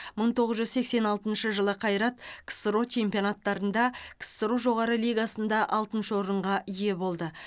мың тоғыз жүз сексен алтыншы жылы қайрат ксро чемпионаттарында ксро жоғары лигасында алтыншы орынға ие болды